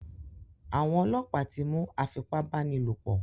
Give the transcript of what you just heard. Àwọn ọlọ́pàá ti mú afipábánilòpò.